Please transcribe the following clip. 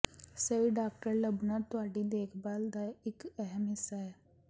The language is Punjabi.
ਸਹੀ ਡਾਕਟਰ ਲੱਭਣਾ ਤੁਹਾਡੀ ਦੇਖਭਾਲ ਦਾ ਇੱਕ ਅਹਿਮ ਹਿੱਸਾ ਹੈ